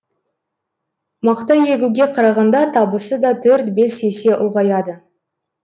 мақта егуге қарағанда табысы да төрт бес есе ұлғаяды